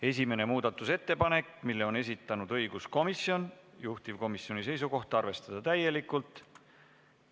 Esimese muudatusettepaneku on esitanud õiguskomisjon ja juhtivkomisjoni seisukoht on arvestada seda täielikult.